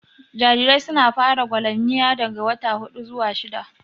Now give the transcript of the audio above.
Jarirai su na fara gwalamniya daga wata huɗu zuwa shidda